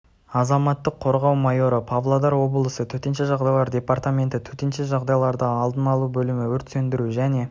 азаматтық қорғау майоры павлодар обласы төтенше жағдайлар департаменті төтенше жағдайларды алдын алу бөлімі өрт сөндіру және